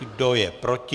Kdo je proti?